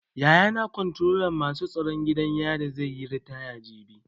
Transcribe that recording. Yayana Komftrolan masu tsaron gidan yari zai yi ritaya jibi.